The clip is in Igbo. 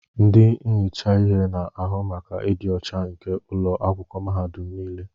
Ndị na-ehicha ihe na-ahụ maka ịdị ọcha nke ụlọ akwụkwọ mahadum niile.